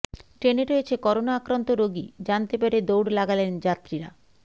ট্রেনে রয়েছে করোনা আক্রান্ত রোগী জানতে পেরে দৌড় লাগালেন যাত্রীরা